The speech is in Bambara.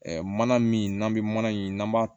mana min n'an bɛ mana in n'an b'a